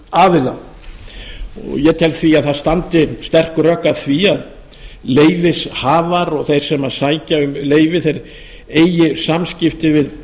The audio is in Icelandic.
stjórnsýsluaðila ég tel því að það standi sterk rök að því að leyfishafar og þeir sem sækja um leyfi þeir eigi samskipti við